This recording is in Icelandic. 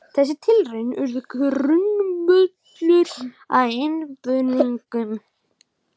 Þessar tilraunir urðu grundvöllur að undirbúningi breytinga á námskrá.